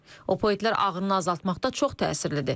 Opioidlər ağrını azaltmaqda çox təsirlidir.